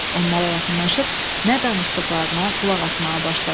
Onlara yaxınlaşıb nə danışdıqlarına qulaq asmağa başladı.